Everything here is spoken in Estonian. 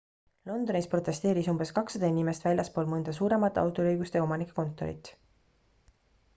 londonis protesteeris umbes 200 inimest väljaspool mõnda suuremat autoriõiguste omanike kontorit